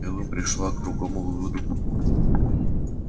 кэлвин пришла к другому выводу